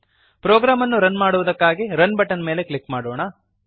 program ಅನ್ನು run ಮಾಡುವುದಕ್ಕಾಗಿ run button ಮೇಲೆ ಕ್ಲಿಕ್ ಮಾಡೋಣ